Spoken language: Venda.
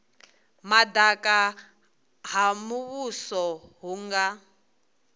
madaka ha muvhuso hu nga